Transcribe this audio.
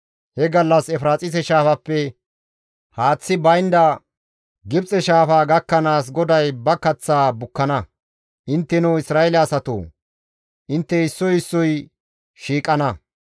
He gallas Efiraaxise shaafappe haaththi baynda Gibxe Shaafa gakkanaas GODAY ba kaththaa bukkana; intteno Isra7eele asatoo, intte issoy issoy shiiqana.